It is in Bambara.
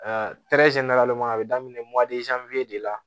a bɛ daminɛ de la